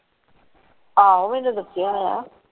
ਆਹੋ ਇਹਨੇ ਦਸਿਆ ਹੋਇਆ ਹੈ।